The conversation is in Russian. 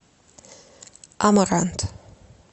амарант